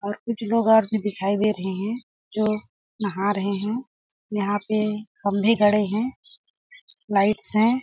और कुछ लोग गौर से दिखाई दे रहै हैं जो नहा रहै हैं यहाँ पे खंभे गड़े हैं लाइटस हैं।